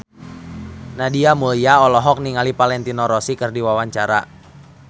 Nadia Mulya olohok ningali Valentino Rossi keur diwawancara